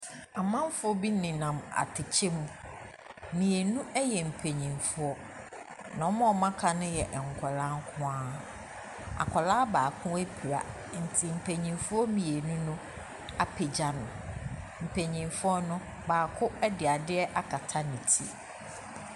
Ɔmanfo bi nenam atakyɛ mu. Mmienu yɛ mpanyimfoɔ. Na wɔn a aka no yɛ nkwaraa nko ara. Akwaraa baako apira. Nti mpanimfo mmienu apegya no. Mpanimfoɔ no baako de ade akata ne ti.